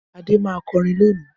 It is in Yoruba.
Adé má kọ orin loni